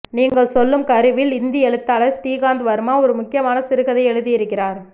நீங்கள் சொல்லும் கருவில் இந்தி எழுத்தாளர் ஸ்ரீகாந்த் வர்மா ஒரு முக்கியமான சிறுகதை எழுதியிருக்கிறார்